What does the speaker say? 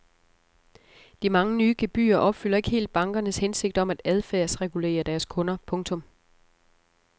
De mange nye gebyrer opfylder ikke helt bankernes hensigt om at adfærdsregulere deres kunder. punktum